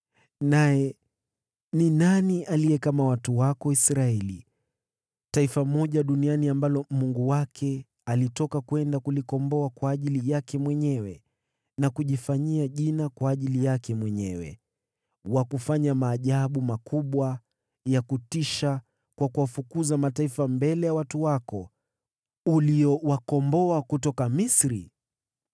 Naye ni nani aliye kama watu wako Israeli: taifa pekee duniani ambalo Mungu wake alitoka kwenda kulikomboa kwa ajili yake mwenyewe na kujifanyia jina kwa ajili yake mwenyewe, kwa kufanya maajabu makubwa na ya kutisha kwa kuwafukuza mataifa mbele ya watu wako, ambao uliwakomboa kutoka Misri?